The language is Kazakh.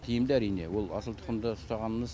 тиімді әрине ол асыл тұқымды ұстағанымыз